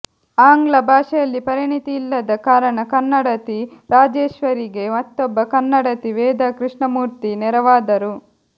ಆಂಗ್ಲ ಭಾಷೆಯಲ್ಲಿ ಪರಿಣಿತಿಯಿಲ್ಲದ ಕಾರಣ ಕನ್ನಡತಿ ರಾಜೇಶ್ವರಿಗೆ ಮತ್ತೊಬ್ಬ ಕನ್ನಡತಿ ವೇದಾ ಕೃಷ್ಣಮೂರ್ತಿ ನೆರವಾದರು